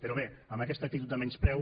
però bé amb aquesta actitud de menyspreu